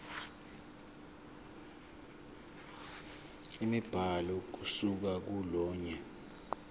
imibhalo ukusuka kolunye